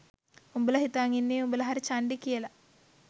උඹල හිතන් ඉන්නේ උඹල හරි චන්ඩි කියල